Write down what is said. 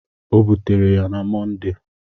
O butere ya na Mọnde.